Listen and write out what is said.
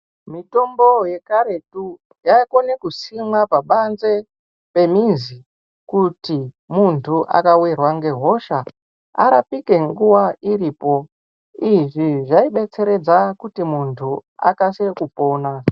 Mitombo yekaretu yaikone kusimwa pabanze pemizi kuti muntu akawirwa ngehosha arapike nguwa iripo. Izvi zvaibetseredza kuti muntu akasire kupona.